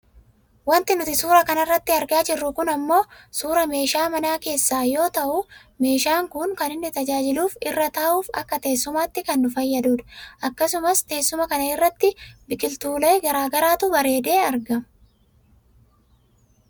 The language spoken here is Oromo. Wanti nuti suuraa kanarratti argaa jirru kun ammoo suuraa meeshaa mana keessaa yoo ta'u meeshaan kun kan inni nu tajaajiluuf irra taa'uuf akka teessumaatti kan nu fayyadudha. Akkasumas teessuma kana biratti biqiltuulee gara garaatu bareedee argama.